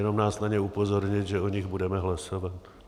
Jenom nás na ně upozornit, že o nich budeme hlasovat.